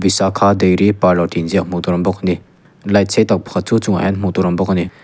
visaka dairy parlour tih inziak hmuh tur a awm bak a ni light sei tak pakhat chu a chungah hian hmuh tur a awm bawk a ni.